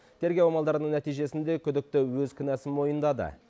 тергеу амалдарының нәтижесінде күдікті өз кінәсін мойындады